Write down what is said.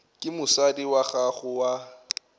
ke mosadi wa gago wa